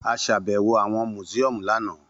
A ṣàbẹwò awọn musiọmu lana.